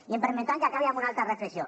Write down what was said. i em permetran que acabi amb una altra reflexió